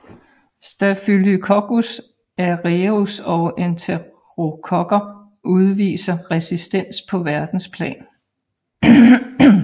Staphylococcus aureus og enterokokker udviser resistens på verdensplan